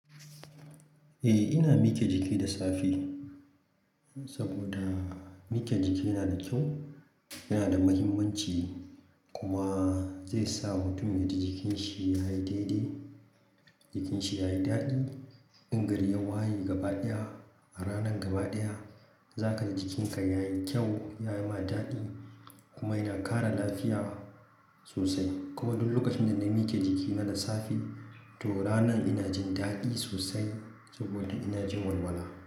Eh, ina mike jiki da safe saboda mike jiki yana da kyau, yana da mahimmanci kuma zai sa mutum yaji jikinsa yayi daidai, jikinsa yayi daɗi. In gari ya waye gaba ɗaya, a ranar gaba ɗaya zakaji jikin kan yayi kyau yayi ma daɗi kuma yana kara lafiya sosai. Kuma duk lokacin da na mike jiki na da safe, to ranan ina jin daɗi sosai saboda ina jin walwala.